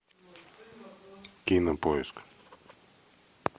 кинопоиск